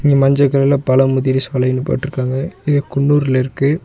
இங்க மஞ்ச கலர்ல பழமுதிர் சோலைனு போட்ருக்காங்க இது குன்னூர்லருக்கு.